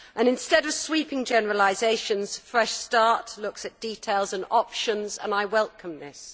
Instead of sweeping generalisations, Fresh Start looks at details and options, and I welcome this.